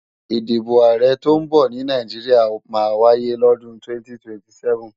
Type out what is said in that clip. Ìdìbò Ààrẹ tọ́ ń bọ̀ ní Nàìjíríà máa wáyé lọ́dún 2027